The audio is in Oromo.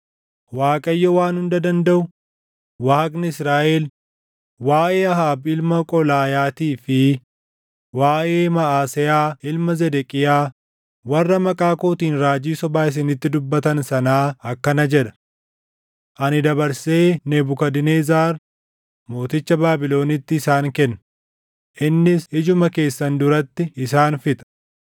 Waaqayyo Waan Hunda Dandaʼu, Waaqni Israaʼel waaʼee Ahaab ilma Qolaayaatii fi waaʼee Maʼaseyaa ilma Zedeqiyaa warra maqaa kootiin raajii sobaa isinitti dubbatan sanaa akkana jedha: “Ani dabarsee Nebukadnezar mooticha Baabilonitti isaan kenna; innis ijuma keessan duratti isaan fixa.